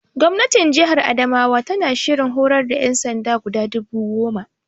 Gwamnatin Jihar Adamawa tana shirin horar da ƴansanda guda dubu goma